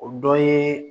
O dɔ ye